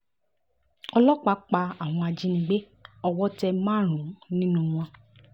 ọlọ́pàá pa àwọn ajìnígbé owó tẹ márùn-ún nínú wọn